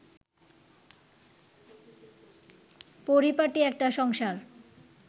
পরিপাটি একটা সংসার